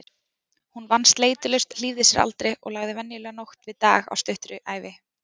Hún vann sleitulaust, hlífði sér aldrei og lagði venjulega nótt við dag á stuttri ævi.